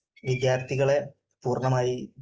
വിദ്യാർഥികളെ പൂർണമായി